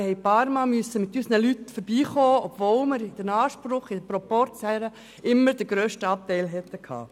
Wir mussten ein paarmal mit unseren Leuten vorbeikommen, obwohl wir im Rahmen des Proporzanspruchs immer den grössten Anteil gehabt hätten.